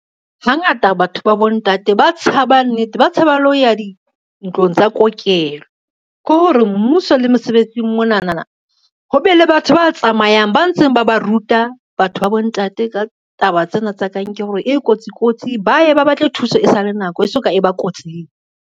Hangata batho ba bontate ba tshaba nnete, ba tshaba le ho ya dintlong tsa kokelo. Ke hore mmuso le mosebetsing mona na ho be le batho ba tsamayang, ba ntseng ba ba ruta batho ba bontate ka taba tsena tsa kankere hore e kotsi kotsi, ba ye ba batle thuso e sa le nako e so ka e ba kotsing.